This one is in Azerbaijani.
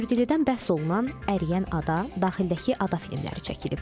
Kür dilindən bəhs olunan əriyən ada, daxildəki ada filmləri çəkilib.